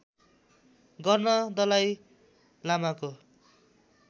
गर्न दलाइ लामाको